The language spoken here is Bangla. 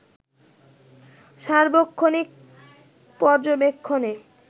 সার্বক্ষণিক পর্যবেক্ষণে